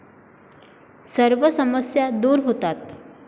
सर्व समस्या दूर होतात.